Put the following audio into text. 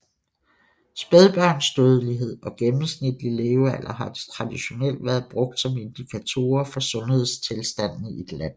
Spædbørnsdødelighed og gennemsnitlig levealder har traditionelt været brugt som indikatorer for sundhedstilstanden i et land